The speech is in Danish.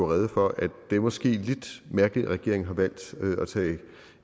rede for at det måske er lidt mærkeligt at regeringen har valgt at tage